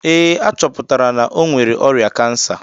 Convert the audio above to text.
Ee, a chọpụtara na o nwere ọrịa kansa